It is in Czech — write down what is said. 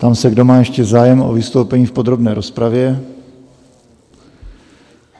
Ptám se, kdo má ještě zájem o vystoupení v podrobné rozpravě?